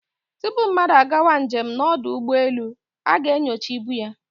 Tupu mmadu a gawa njem n'odu ugboelu, a ga-enyocha ibu ya